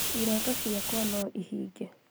Iroto ciakwa noihinge